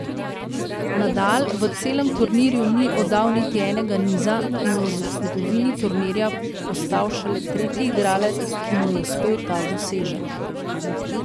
Nadal v celem turnirju ni oddal niti enega niza in v zgodovini turnirja postal šele tretji igralec, ki mu je uspel ta dosežek.